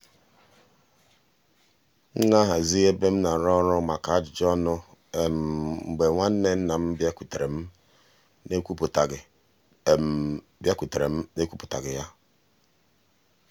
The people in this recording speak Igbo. m na-ahazi ebe m na-arụ ọrụ maka ajụjụ ọnụ mgbe nwa nwanne nna m bịakwutere m n’ekwuputaghi bịakwutere m n’ekwuputaghi ya.